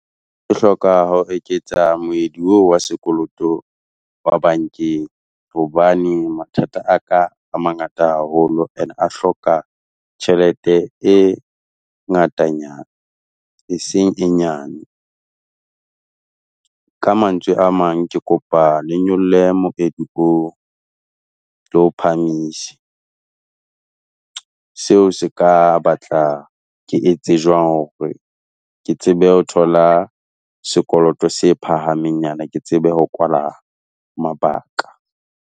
E hloka ho eketsa moedi oo wa sekoloto wa bankeng hobane mathata a ka a mangata haholo and a hloka tjhelete e ngatanyana e seng e nyane. Ka mantswe a mang ke kopa le nyolle moedi oo, le o phahamise. Seo se ka batla ke etse jwang hore ke tsebe ho thola sekoloto se phahamengnyana ke tsebe ho kwala mabaka.